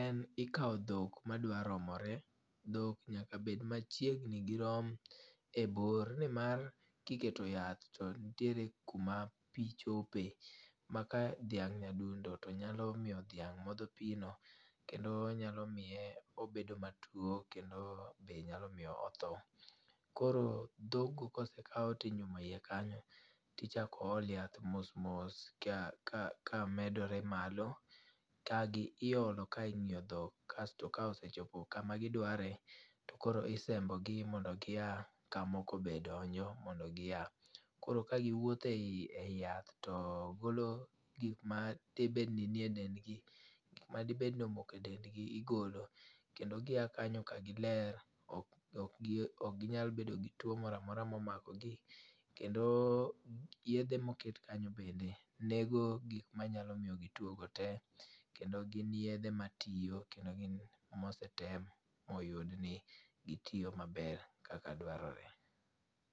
en ikawo dhok madwaromore dhok nyaka bed machiegni gi rom e bor nimar kiketo yath to ntiere kuma pi chope ma ka dhiang' nyadundo to nyalo miyo dhiang' modho pino kendo nyalo miye obedo matuo kendo be nyalo miyo otho. Koro dhogo kosekaw tinyume iye kanyo tichako ol yath mos mos ka medore malo ka iolo ka ing'iyo dhok kasto ka oasechopo kama gidware to koro isembogi mondo gia ka moko be donjo mondo gia. Koro kara giwuotho e i yath to golo gikmadibed ni nie dendgi, madibed nomoko e dendgi igolo kendo gia kanyo ka giler ok ginyal bedo gi tuo moro amora momakogi kendo yedhe moket kanyo bende nego gik manyalo miyogi tuogo tee kendo gin yedhe matiyo kendo gin mosetem moyud ni gitiyo maber kaka dwarore.